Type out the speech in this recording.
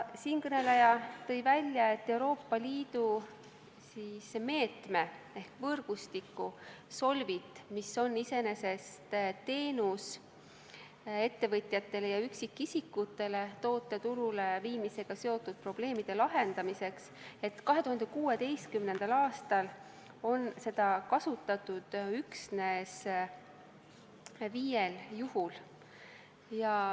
Siinkõneleja tõi välja, et Euroopa Liidu meedet ehk võrgustikku SOLVIT, mis osutab ettevõtjatele ja üksikisikutele teenust toote turuleviimisega seotud probleemide lahendamiseks, on 2016. aastal kasutatud üksnes viiel juhul.